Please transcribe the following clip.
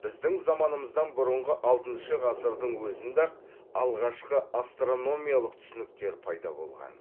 біздің заманымыздан бұрынғы алтыншы ғасырдың өзінде ақ алғашқы астрономиялық түсініктер пайда болған